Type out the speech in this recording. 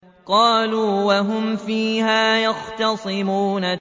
قَالُوا وَهُمْ فِيهَا يَخْتَصِمُونَ